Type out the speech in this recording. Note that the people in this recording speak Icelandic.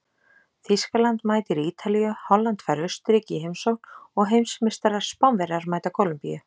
Þýskaland mætir Ítalíu, Holland fær Austurríki í heimsókn og heimsmeistarar Spánverjar mæta Kólumbíu.